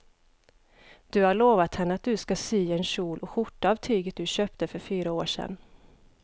Du har lovat henne att du ska sy en kjol och skjorta av tyget du köpte för fyra år sedan.